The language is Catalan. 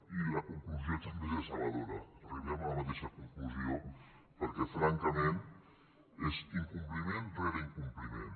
i la conclusió també és dece·bedora arribem a la mateixa conclusió perquè fran·cament és incompliment rere incompliment